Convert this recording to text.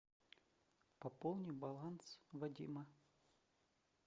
пополни баланс вадима